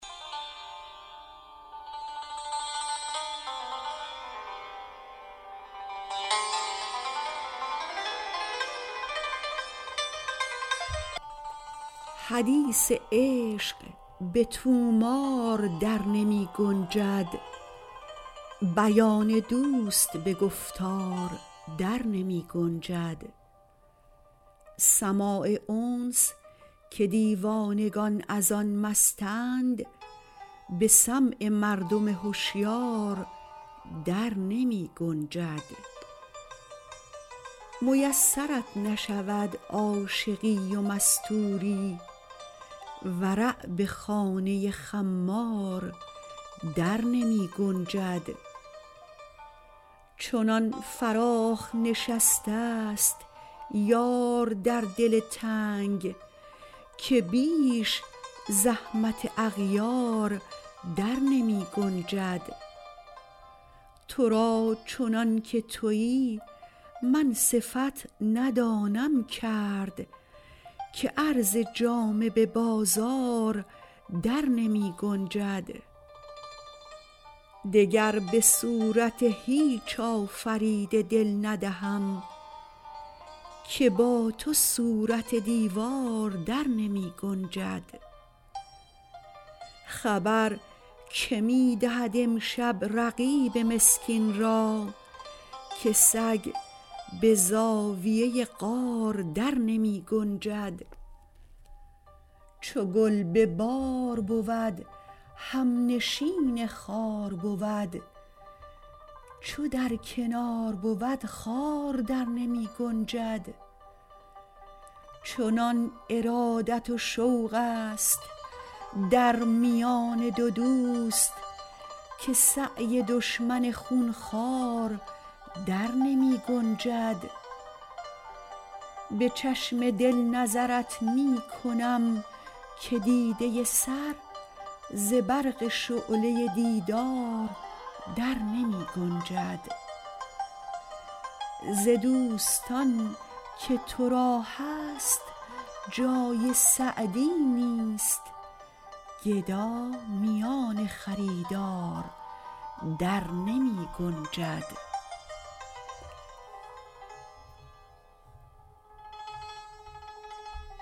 حدیث عشق به طومار در نمی گنجد بیان دوست به گفتار در نمی گنجد سماع انس که دیوانگان از آن مستند به سمع مردم هشیار در نمی گنجد میسرت نشود عاشقی و مستوری ورع به خانه خمار در نمی گنجد چنان فراخ نشسته ست یار در دل تنگ که بیش زحمت اغیار در نمی گنجد تو را چنان که تویی من صفت ندانم کرد که عرض جامه به بازار در نمی گنجد دگر به صورت هیچ آفریده دل ندهم که با تو صورت دیوار در نمی گنجد خبر که می دهد امشب رقیب مسکین را که سگ به زاویه غار در نمی گنجد چو گل به بار بود همنشین خار بود چو در کنار بود خار در نمی گنجد چنان ارادت و شوق ست در میان دو دوست که سعی دشمن خون خوار در نمی گنجد به چشم دل نظرت می کنم که دیده سر ز برق شعله دیدار در نمی گنجد ز دوستان که تو را هست جای سعدی نیست گدا میان خریدار در نمی گنجد